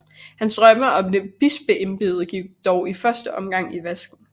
Hans drømme om et bispeembede gik dog i første omgang i vasken